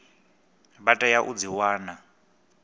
vha tea u dzi wana